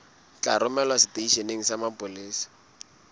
tla romelwa seteisheneng sa mapolesa